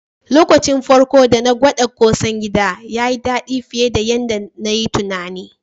Lokaci na farko dana gwada ƙosan gida, yayi daɗi fiye da yanda nayi tunani.